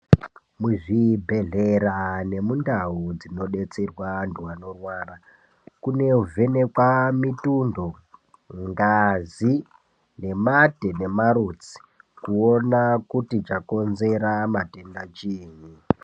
Muzvibhedhlera nemundau munodetserwa anthu anorwara, kunovhenekwa mituntho, ngazi nemate nemarutsi kuona kuti chakonzera matenda chiini.